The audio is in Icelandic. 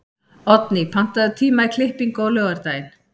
Oddný, pantaðu tíma í klippingu á laugardaginn.